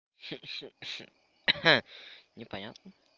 ха-ха непонятно